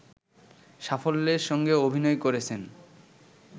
সাফল্যের সঙ্গে অভিনয় করেছেন